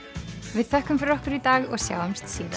við þökkum fyrir okkur í dag og sjáumst síðar